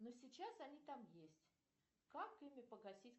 ну сейчас они там есть как ими погасить